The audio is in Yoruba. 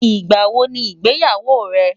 ìgbà wò ní ìgbéyàwó rè?